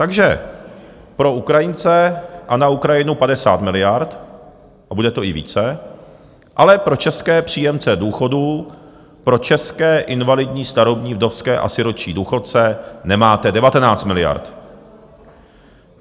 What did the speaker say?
Takže pro Ukrajince a na Ukrajinu 50 miliard, a bude to i více, ale pro české příjemce důchodů, pro české invalidní, starobní, vdovské a sirotčí důchodce, nemáte 19 miliard.